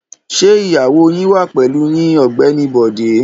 Ṣé ìyàwó yín wà pẹ̀lú yín Ọ̀gbẹ́ni Bọ̀dé?